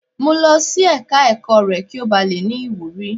Mu lọ sí ẹ̀ka ẹ̀kọ́ rẹ kí ó ba le ní ìwúrí.